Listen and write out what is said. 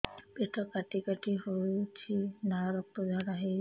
ପେଟ କାଟି କାଟି ହେଉଛି ଲାଳ ରକ୍ତ ଝାଡା ହେଉଛି